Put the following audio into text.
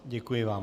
Děkuji vám.